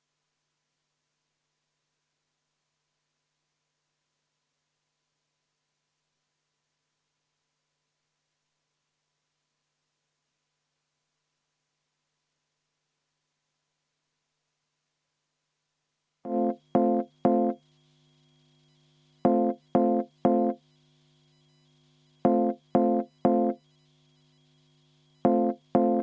Muudatusettepaneku nr 14 on esitanud – oo!